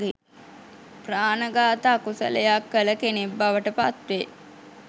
ප්‍රාණඝාත අකුසලයක් කළ කෙනෙක් බවට පත්වේ.